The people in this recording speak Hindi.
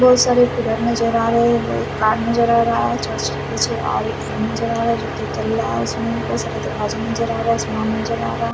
बहुत सारे पिलर नज़र आ रहे हैं वो एक कार नज़र आ रहा है चर्च के पीछे और एक नज़र आ रहा है जो उसमें भी बहुत सारे दरवाजे नज़र आ रहे हैं नज़र आ रहा।